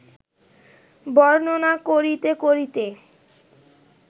বর্ণনা করিতে করিতে